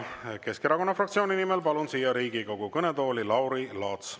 Ja Keskerakonna fraktsiooni nimel palun siia Riigikogu kõnetooli Lauri Laatsi.